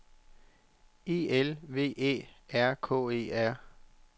E L V Æ R K E R